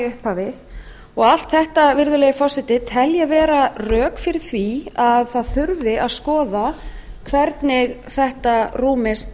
upphafi og allt þetta virðulegi forseti tel ég vera rök fyrir því að það þurfi að skoða hvernig þetta rúmist